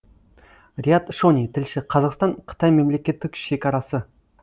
риат шони тілші қазақстан қытай мемлекеттік шекарасы